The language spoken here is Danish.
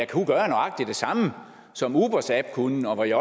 kunne gøre nøjagtig det samme som ubers app kunne og jeg